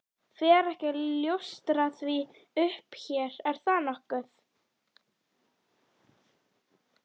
Fer ekki að ljóstra því upp hér, er það nokkuð?